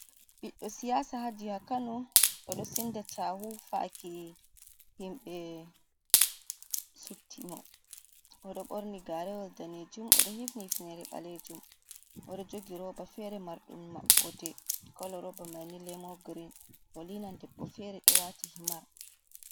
Ɓiɗɗo siyasa haa jiha Kano, o ɗo senda cahu faki himbe sutti mo, o ɗo borni garewal danejum, o ɗo hifni hifenere ɓalejum, o ɗo jogi roba fere mardum maɓode kolo roba mai ni lemon green. O linan debbo fere do wati himar.